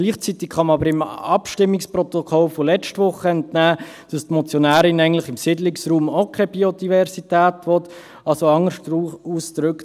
Gleichzeitig kann man aber dem Abstimmungsprotokoll von letzter Woche entnehmen, dass die Motionärin eigentlich im Siedlungsraum auch keine Biodiversität will, also anders ausgedrückt: